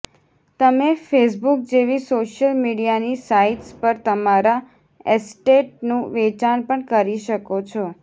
તમે ફેસબુક જેવી સોશિયલ મીડિયાની સાઇટ્સ પર તમારા એસ્ટેટનું વેચાણ પણ કરી શકો છો